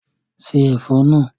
Ṣé Ẹ̀fọ́ náà!